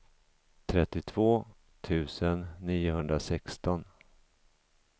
trettiotvå tusen niohundrasexton